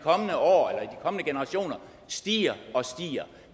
kommende generationer stiger og stiger